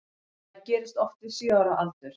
Það gerist oft við sjö ára aldur.